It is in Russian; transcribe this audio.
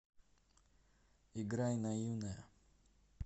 играй наивная